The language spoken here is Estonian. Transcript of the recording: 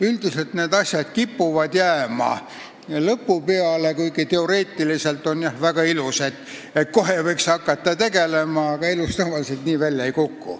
Üldiselt kipuvad need asjad jääma tööaja lõpu peale, kuigi teoreetiliselt oleks väga ilus, et kohe hakataks sellega tegelema, aga elus tavaliselt nii välja ei kuku.